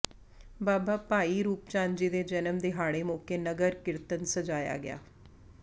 ਬਾਬਾ ਭਾਈ ਰੂਪ ਚੰਦ ਜੀ ਦੇ ਜਨਮ ਦਿਹਾੜੇ ਮੌਕੇ ਨਗਰ ਕੀਰਤਨ ਸਜਾਇਆ ਗਿਆ